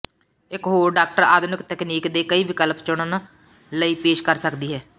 ਇਕ ਹੋਰ ਡਾਕਟਰ ਆਧੁਨਿਕ ਤਕਨੀਕ ਦੇ ਕਈ ਵਿਕਲਪ ਚੁਣਨ ਲਈ ਪੇਸ਼ ਕਰ ਸਕਦੀ ਹੈ